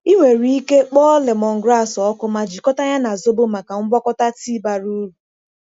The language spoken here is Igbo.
Ị nwere ike kpọọ lemongrass ọkụ ma jikọta ya na zobo maka ngwakọta tii bara uru.